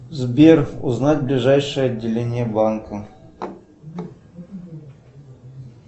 сбер узнать ближайшее отделение банка